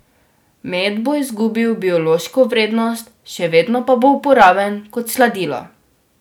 Med bo izgubil biološko vrednost, še vedno pa bo uporaben kot sladilo.